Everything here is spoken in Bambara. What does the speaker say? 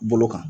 Bolo kan